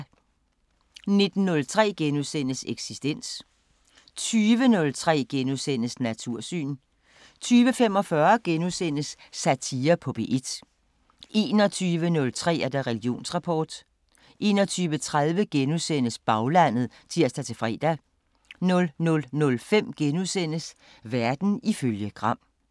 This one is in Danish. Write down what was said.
19:03: Eksistens * 20:03: Natursyn * 20:45: Satire på P1 * 21:03: Religionsrapport 21:30: Baglandet *(tir-fre) 00:05: Verden ifølge Gram *